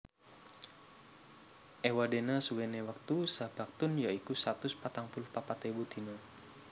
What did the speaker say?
Ewadena suwene wektu saBaktun ya iku satus patang puluh papat ewu dina